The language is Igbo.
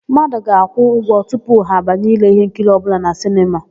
Mmadụ ga-akwụ ụgwọ tupu ha banye ile íhénkiri ọbụla na sinema.